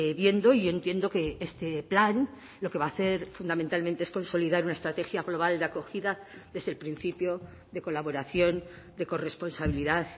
viendo y yo entiendo que este plan lo que va a hacer fundamentalmente es consolidar una estrategia global de acogida desde el principio de colaboración de corresponsabilidad